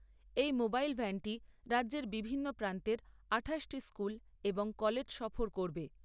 এই মোবাইল ভ্যানটি রাজ্যের বিভিন্ন প্রান্তের আঠাশটি স্কুল এবং কলেজ সফর করবে।